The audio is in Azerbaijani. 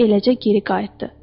Və eləcə geri qayıtdı.